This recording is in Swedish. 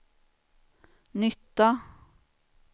nytta